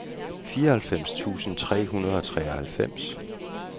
fireoghalvfems tusind tre hundrede og treoghalvfems